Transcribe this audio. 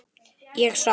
Ég sá.